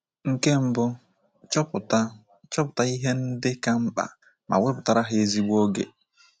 Nke mbụ, chọpụta chọpụta ihe ndị ka mkpa ma wepụtara ha ezigbo oge.